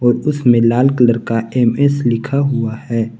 और उसमें लाल कलर का एम_एस लिखा हुआ है।